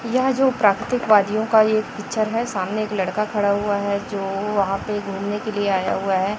यह जो प्राकृतिक वादियों का यह पिक्चर है सामने एक लड़का खड़ा हुआ है जो वहां पे घूमने के लिए आया हुआ है।